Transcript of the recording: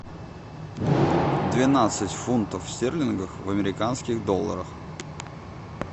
двенадцать фунтов стерлингов в американских долларах